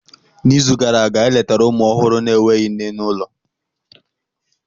N'izu gara aga, anyị letara ụmụ ọhụrụ na-enweghị nne n'ụlọ.